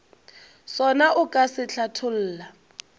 sona o ka se hlatholla